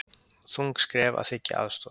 Þung skref að þiggja aðstoð